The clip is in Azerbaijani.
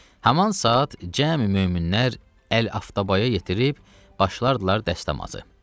Haman saat cəmi möminlər əl-aftabaya yetirib başladılar dəstəmaza.